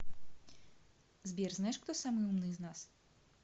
сбер знаешь кто самый умный из нас